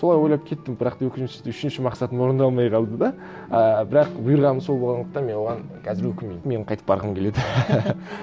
солай ойлап кеттім бірақ та өкінішті үшінші мақсатым орындалмай қалды да ы бірақ бұйырғаны сол болғандықтан мен оған қазір өкінбеймін мен қайтып барғым келеді